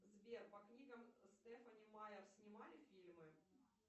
сбер по книгам стефани майер снимали фильмы